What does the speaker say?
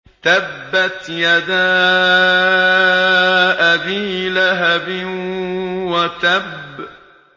تَبَّتْ يَدَا أَبِي لَهَبٍ وَتَبَّ